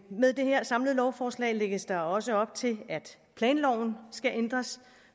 med det her samlede lovforslag lægges der også op til at planloven skal ændres